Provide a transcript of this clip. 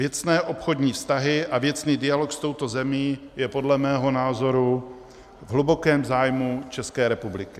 Věcné obchodní vztahy a věcný dialog s touto zemí je podle mého názoru v hlubokém zájmu České republiky.